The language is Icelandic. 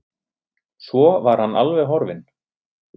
Svo var hann alveg horfinn.